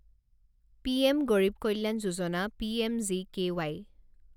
PM Garib Kalyan Yojana P M G K Y